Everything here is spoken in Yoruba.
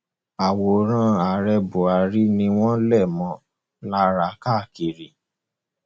àwòrán ààrẹ buhari ni wọn lè mọ ọn lára káàkiri